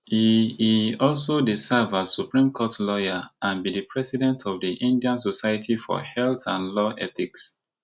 e e also dey serve as supreme court lawyer and be di president of di indian society for health and law ethics